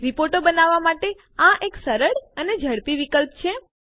રિપોર્ટો બનાવવા માટે આ એક સરળ અને ઝડપી વિકલ્પ છે